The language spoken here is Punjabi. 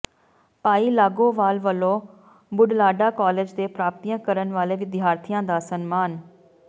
ਭਾਈ ਲੌਾਗੋਵਾਲ ਵਲੋਂ ਬੁਢਲਾਡਾ ਕਾਲਜ ਦੇ ਪ੍ਰਾਪਤੀਆਂ ਕਰਨ ਵਾਲੇ ਵਿਦਿਆਰਥੀਆਂ ਦਾ ਸਨਮਾਨ